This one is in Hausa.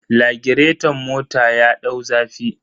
Lagireton mota ya dau zafi.